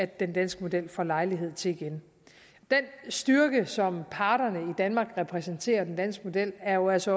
den danske model får lejlighed til igen den styrke som parterne i danmark repræsenterer i den danske model er jo også